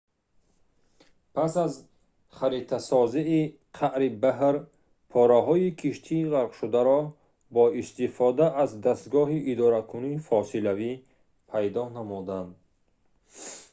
пас аз харитасозии қаъри баҳр пораҳои киштии ғарқшударо бо истифода аз диф дастгоҳи идоракунии фосилавӣ пайдо намуданд